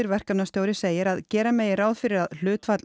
verkefnastjóri segir að gera megi ráð fyrir að hlutfall